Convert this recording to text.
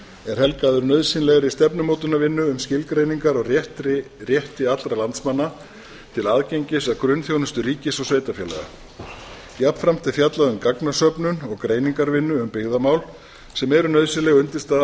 er helgaður nauðsynlegri stefnumótunarvinnu um skilgreiningar á rétti allra landsmanna til aðgengis að grunnþjónustu ríkis og sveitarfélaga jafnframt er fjallað um gagnasöfnun og greiningarvinnu um byggðamál sem eru nauðsynleg undirstaða